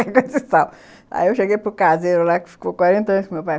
Aí eu cheguei para o caseiro lá, que ficou quarenta anos com o meu pai.